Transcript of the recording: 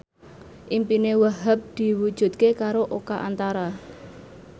impine Wahhab diwujudke karo Oka Antara